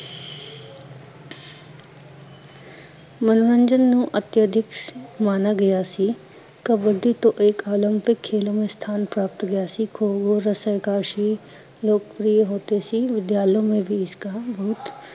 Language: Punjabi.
ਮਨੋਰੰਜਨ ਨੂੰ ਅਤਿਆਧਕ ਮਾਨਾ ਗਿਆ ਸੀ ਕਬੱਡੀ ਤੋਂ ਏਕ ਓਲਿਪਕ ਖੇਲੋ ਮੇ ਸਥਾਨ ਪ੍ਰਾਪਤ ਹੋ ਗਿਆ ਸੀ, ਖੋ ਖੋ, ਰਸ਼ਕਸ਼ੀ, ਲੋਕਪ੍ਰਿਯ ਹੋਤੇ ਸੀ, ਵਿਦਿਆਲਿਓ ਮੇ ਬਈ ਇਸਕ ਬਹੁਤ